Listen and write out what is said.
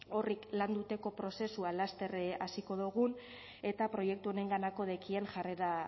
horrek landuteko prozesua laster hasiko dogun eta proiektu honenganako dekien